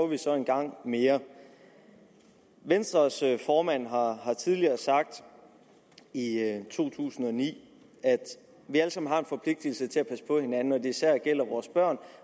vi så en gang mere venstres formand har tidligere sagt i to tusind og ni at vi alle sammen har en forpligtigelse til at passe på hinanden og at det især gælder vores børn